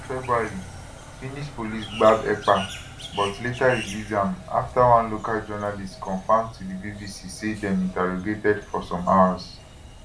for february finnish police gbab ekpa but later release am afta one local journalist confam to di bbc say dem interrogated for some hours